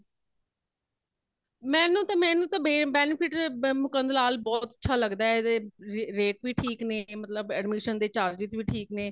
ਮੈਨੂੰ ਤੇ ,ਮੈਨੂੰ ਤੇ ਬੇ benefit ਮੁਕੰਦ ਲਾਲ ਬਹੁਤ ਅੱਛਾ ਲੱਗਦਾ ਹੇ। ਏਦੇ rate ਵੀ ਠੀਕ ਨੇ ਮੱਤਲਬ admission ਦੇ charges ਵੀ ਠੀਕ ਨੇ